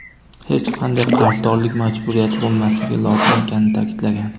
hech qanday qarzdorlik majburiyati bo‘lmasligi lozim ekanini ta’kidlagan.